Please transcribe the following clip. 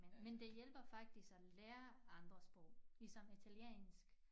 Men det hjælper faktisk at lære andre sprog ligesom italiensk